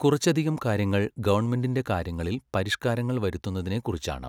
കുറച്ചധികം കാര്യങ്ങൾ ഗവൺമെന്റിന്റെ കാര്യങ്ങളിൽ പരിഷ്കാരങ്ങൾ വരുത്തുന്നതിനെക്കുറിച്ചാണ്.